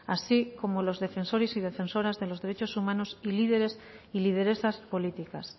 así como los defensores y defensoras de los derechos humanos y líderes y lideresas políticas